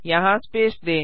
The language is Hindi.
यहाँ स्पेस दें